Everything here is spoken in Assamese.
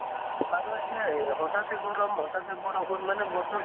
আৰু এতিয়া ই হঠাতে গৰম হঠাতে বৰষুণ মানে বতৰ তো